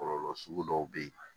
Kɔlɔlɔ sugu dɔw bɛ yen